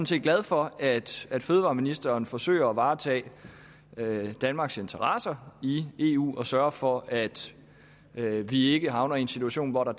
set glad for at at fødevareministeren forsøger at varetage danmarks interesser i eu og sørger for at at vi ikke havner i en situation hvor der